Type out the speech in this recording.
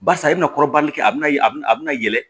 Barisa a bɛna kɔrɔbali kɛ a bina a bina yɛlɛ